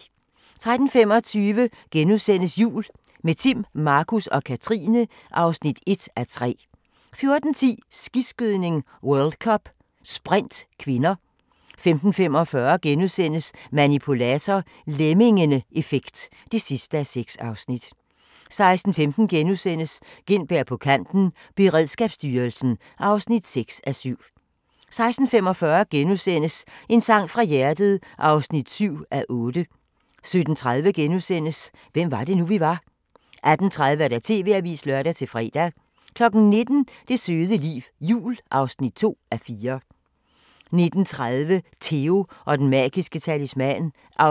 13:25: Jul – med Timm, Markus og Katrine (1:3)* 14:10: Skiskydning: World Cup - sprint (k) 15:45: Manipulator – Lemmingeeffekt (6:6)* 16:15: Gintberg på kanten – Beredskabsstyrelsen (6:7)* 16:45: En sang fra hjertet (7:8)* 17:30: Hvem var det nu, vi var? * 18:30: TV-avisen (lør-fre) 19:00: Det søde liv – jul (2:4) 19:30: Theo & den magiske talisman (8:24)